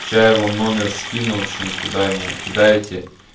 сейчас я вам номер скину в общем туда ему кидаете